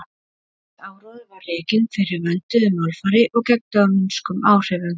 mikill áróður var rekinn fyrir vönduðu málfari og gegn dönskum áhrifum